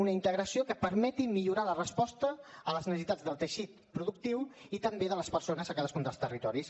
una integració que permeti millorar la resposta a les necessitats del teixit productiu i també de les persones a cadascun dels territoris